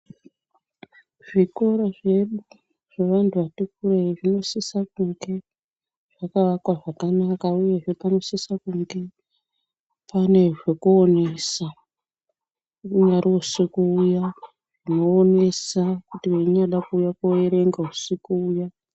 Zvikoro zvedu zvevantu vati kurei zvinosisa kunge zvakavakwa zvakanaka, uyehe panosise kunge pane zvekuonesa, unyari usiku uya zvinoonesa kuti weinyada kuuya koerenga usiku uya.